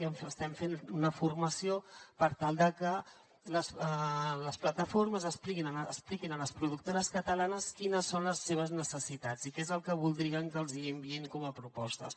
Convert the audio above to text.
i estem fent una formació per tal de que les plataformes expliquin a les productores catalanes quines són les seves necessitats i què és el que voldrien que els enviïn com a propostes